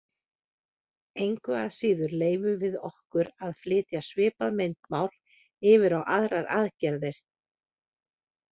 Engu að síður leyfum við okkur að flytja svipað myndmál yfir á aðrar aðgerðir.